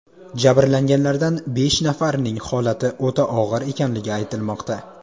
Jabrlanganlardan besh nafarining holati o‘ta og‘ir ekanligi aytilmoqda.